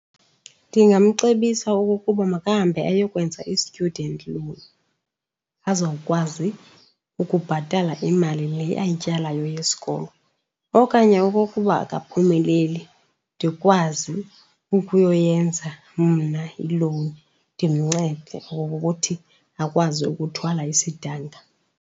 Ndingamcebisa okokuba makahambe ayokwenza i-student loan azawukwazi ukubhatala imali le ayityalayo yesikolo. Okanye okokuba akaphumeleli, ndikwazi ukuyoyenza mna ilowuni ndimncede okokuthi akwazi ukuthwala isidanga.